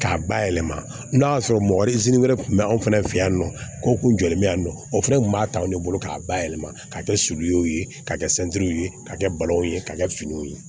K'a bayɛlɛma n'a y'a sɔrɔ mɔgɔ wɛrɛ tun bɛ anw fɛnɛ fɛ yan nɔ ko kun jɔlen bɛ yan nɔ o fɛnɛ kun b'a ta anw de bolo k'a bayɛlɛma ka kɛ sulu ye ka kɛ ye ka kɛ balaw ye ka kɛ finiw ye